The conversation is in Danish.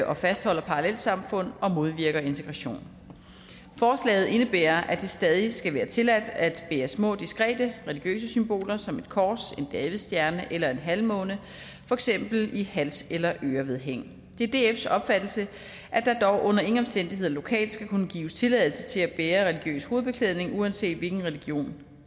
og fastholder parallelsamfund og modvirker integration forslaget indebærer at det stadig skal være tilladt at bære små diskrete religiøse symboler som et kors en davidsstjerne eller en halvmåne for eksempel i hals eller ørevedhæng det er dfs opfattelse at der dog under ingen omstændigheder lokalt skal kunne gives tilladelse til at bære religiøs hovedbeklædning uanset hvilken religion